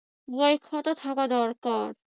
বই খাতা থাকা দরকার।